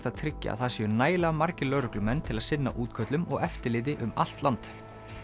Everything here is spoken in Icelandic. að tryggja að það séu nægilega margir lögreglumenn til að sinna útköllum og eftirliti um allt land